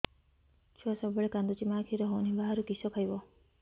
ଛୁଆ ସବୁବେଳେ କାନ୍ଦୁଚି ମା ଖିର ହଉନି ବାହାରୁ କିଷ ଖାଇବ